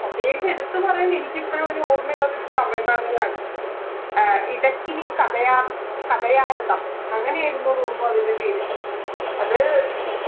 പ്രത്യേകിച്ച് എടുത്തു പറയാൻ എനിക്കിപ്പഴും ഒരു ഓർമയുള്ളതൊരു തമിഴ് നാടകവാണ് ആഹ് ഇടക്കിനി കഥയ കഥയാരവം അങ്ങനെയരുന്നു തോന്നുന്നു അതിൻറെ പേര് അത്